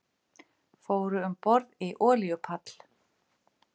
Fóru um borð í olíuborpall